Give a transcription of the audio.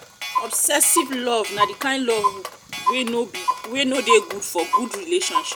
obsessive love na di kind wey no be wey no de good for good relationship